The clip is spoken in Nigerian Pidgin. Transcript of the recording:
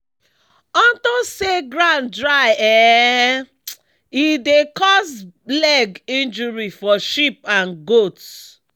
onto say ground dry ehne dey cause leg injury for sheep and goats